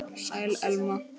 Sæl, Elma.